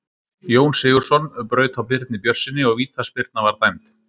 Jón Sigurðsson braut á Birni Björnssyni og vítaspyrna var dæmd.